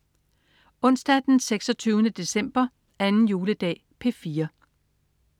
Onsdag den 26. december. 2. juledag - P4: